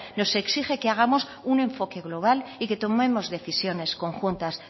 nos que exige que hagamos un enfoque global y que tomemos decisiones conjuntas